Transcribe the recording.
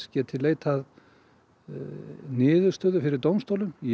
geti leitað niðurstöðu fyrir dómstólum í